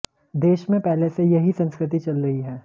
देश में पहले से यही संस्कृति चल रही है